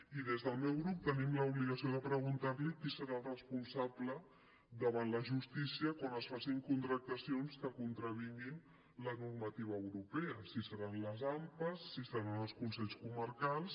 i des del meu grup tenim l’obligació de preguntar li qui serà el responsable davant la justícia quan es facin contractacions que contravinguin la normativa europea si seran les ampas si seran els consells comarcals